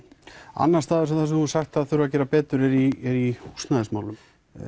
annars staðar sem þú hefur sagt að þurfi að gera betur er í húsnæðismálum